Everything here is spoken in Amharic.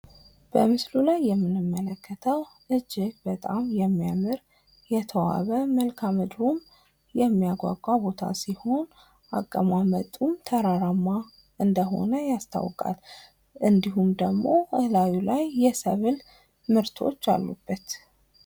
በምስሉ ላይ የምንመለከተው እጅግ በጣም የሚያምር የተዋበ መልከአምድሩም የሚያጓጓ ቦታ ሲሆን አቀማመጡም ተራራማ እንደሆነ ያስታውቃል። እንዲሁም ደግሞ እላዩ ላይ የሰብል ምርቶች አሉበት።